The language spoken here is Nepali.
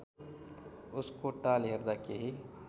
उसको ताल हेर्दा केही